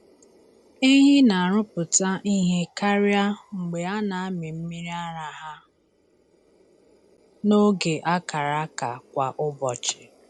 Ehi na-arụpụta ihe karịa mgbe a na-amị mmiri ara ha n’oge a kara aka kwa ụbọchị.